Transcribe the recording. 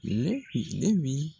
N'e k'i e bi